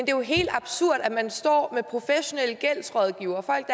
jo helt absurd at man står med professionelle gældsrådgivere folk